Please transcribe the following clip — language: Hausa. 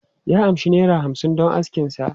Ya amshi naira hamsin don askin sa.